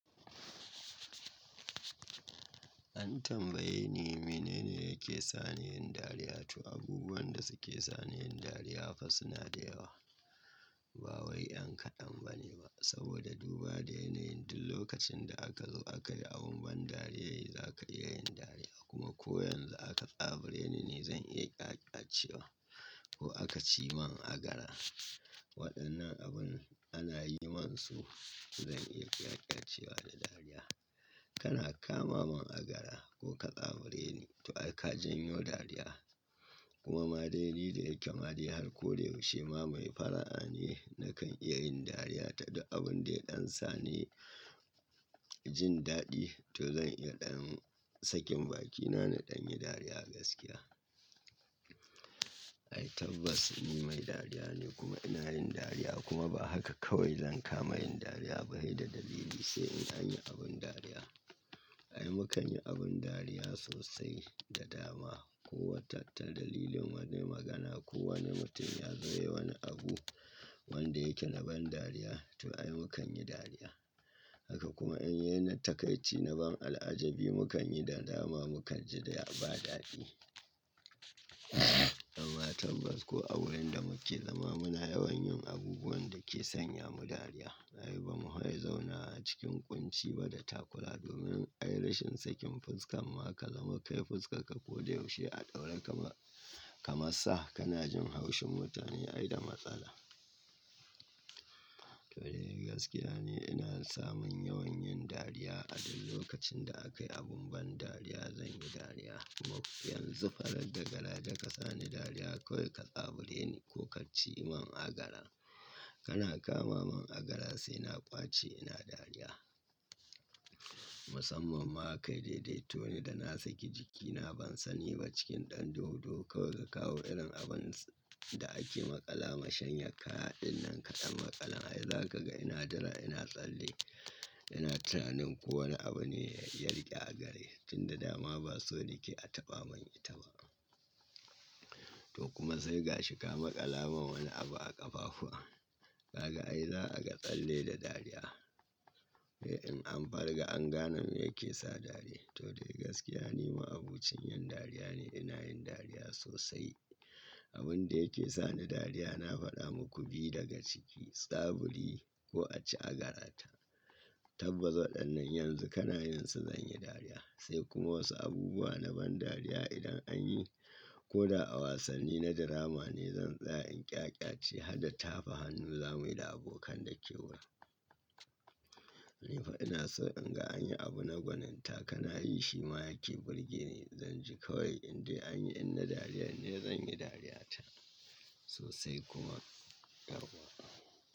An tambaye ni mene ne yake sa ni yin dariya? To abubuwan da suke sa ni yin dariya fa suna da yawa. Ba wai an kaɗan ba ne ba saboda duba da yanayin duk lokacin da aka zo akayi abun ban dariya yayi, za ka iya yin dariya kuma ko yanzu aka tsabure ni ne zan iya ƙyaƙyace wa ko aka ci man agara. Waɗannan abun ana yi musu zan iya ƙyaƙyace wa da dariya. Kana kama man agara ko ka tsabure ni to ka janyo dariya. Kuma ma dai ni da yake ma dai har ko da yaushe ma mai fara'a ne na kan iya yin dariya ta duk abun da ɗan sa ne jin daɗi to zan iya ɗan sakin bakina na ɗan yi dariya gaskiya. Ai tabbas ni mai dariya ne kuma ina yin dariya kuma ba haka kawai zan kama yin dariya ba dai da dalili sai in an yi abin dariya. Ai mu kan yi abin dariya sosai da dama ko wata ta dalilin wani magana ko wani mutum ya zo yayi wani abu wanda yake na ban dariya to ai mu kan yi dariya. Haka kuma in ya na takaici na ban al'ajabi mu kan yi nadama mu kan ji da ba daɗi. Amma tabbas ko a wurin da muke zama muna yawan yin abubuwan da ke sanya mu dariya. Ai ba mu kai zauna a cikin ƙunci ba da takura domin ai rashin sakin fuska ma ka zama kai fuskarka ko da yaushe a ɗaura kaman sa ka na jin haushin mutane ai da matsala. To dai gaskiya ne ina samun yawan yin dariya a duk lokacin da aka yi abun ban dariya zan yi dariya. Kuma yanzu farar da kara da ka sa ni dariya kawai ka tsabure ni ko ka ci man agara. Kana kama man agara sai na ƙwace ina dariya. Musamman ma ka dai-daito ni da na saki jikina ban sani ba cikin ɗan duhu duhu kawai ka kawo irin abun da ake maƙala ma shanyar kaya ɗin nan kaɗan maƙalan ai za ka ga ina jira ina tsalle, ina tunanin ko wani abu ne ya yi yarƙe a gare shi tun da dama ba so nike a taɓa man ita ba. To kuma sai ga shi ka maƙala min wani abu a ƙafafuwa. Kaga ai za a ga tsalle da dariya. Eh in an fara ga an gane me yake sa dari. To dai gaskiya ni ma'abocin yin dariya ne ina yin dariya sosai. Abun da yake sa ni dariya na faɗa muku bi daga ciki, tsaburi ko a ci agara ta. Tabbas waɗannan yanzu kana yin su zan yi dariya. Sai kuma wasu abubuwa na ban dariya idan an yi. Ko da a wasanni na drama ne zan tsaya in ƙyaƙyace har da tafa hannu zamu yi da abokan dake wurin. Ni fa ina so in ga an yi abu na gwaninta kana yi shi ma yake burge ni zan ji kawai indai anyi inda dariya ne zan yi dariya ta sosai kuma tarwaƙa.